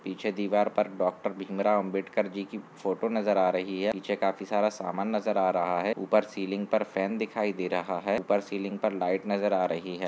पीछे दीवार पर डॉक्टर भीम राव आंबेडकर जी कि फोटो नज़र आ रही है पीछे काफी सारा सामान नज़र रहा है ऊपर सीलिंग पर फैन दिखाई दे रहा है ऊपर सीलिंग पर लाइट नज़र आ रही है।